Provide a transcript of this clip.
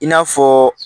I n'a fɔ